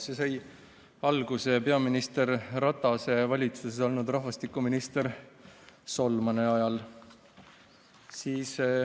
See sai alguse peaminister Ratase valitsuses olnud rahvastikuminister Solmani ajal.